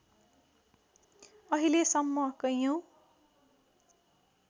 अहिले सम्म कैयौँ